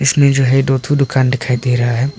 इसमें जो है दो ठो दुकान दिखाई दे रहा है।